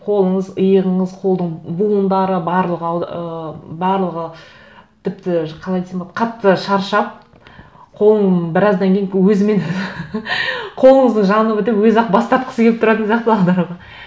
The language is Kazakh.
қолыңыз иығыңыз қолдың буындары барлығы ы барлығы тіпті қалай десем болады қатты шаршап қолың біраздан кейін өзімен өзі қолыңыздың жаны бітіп өзі ақ бас тартқысы келіп тұратын сияқты аударуға